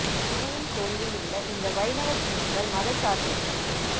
சிவனின் கோயிலில் உள்ள இந்த வைணவச் சின்னங்கள் மதச்சார்பின்மைக்குச்